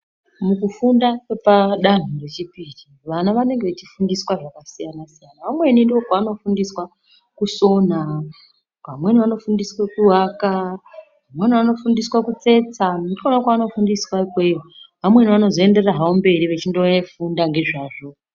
Mukufunda kwepadanho rechipiri, vana vanenge vachifundiswa zvakasiyana-siyana. Vamweni ndokwavanofundiswa kusona, pamweni vanofundiswe kuaka, vamweni vanofundiswa kutsetsa. Ndikwona kwavanofundiswa ikweyo . Vamweni vanozoenderera havo mberi vechindofunda ngezvazvo.